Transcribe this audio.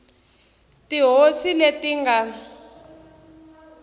tihosi leti a ti nga